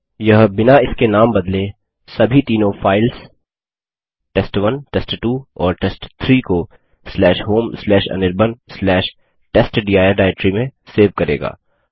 यह बिना इनके नाम बदले सभी तीनों फाइल्स test1टेस्ट2 और टेस्ट3 को homeanirbantestdir डाइरेक्टरी में सेव करेगा